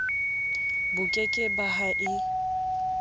boke ke ba ha e